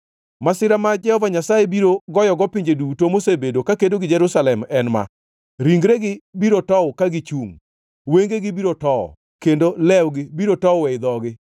Masira ma Jehova Nyasaye biro goyogo pinje duto mosebedo kakedo gi Jerusalem en ma: Ringregi biro tow ka gichungʼ, wengegi biro tow, kendo lewgi biro tow ei dhogi.